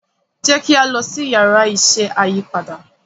jẹ ki a lọ si Yàrá iṣẹ́ ayípadà